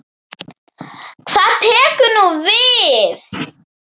Hvað tekur nú við?